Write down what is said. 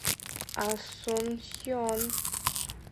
асунсьон